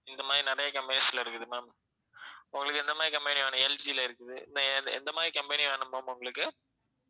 இந்த மாதிரி நிறைய companies ல இருக்குது ma'am உங்களுக்கு எந்த மாதிரி company வேணும் எல்ஜில இருக்குது எ~ எந்த~ எந்த மாதிரி company வேணும் ma'am உங்களுக்கு